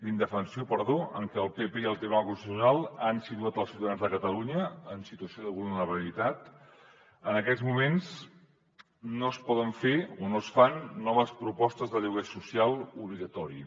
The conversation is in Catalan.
indefensió perdó amb què el pp i el tribunal constitucional han situat els ciutadans de catalunya en situació de vulnerabilitat en aquests moments no es poden fer o no es fan noves propostes de lloguer social obligatori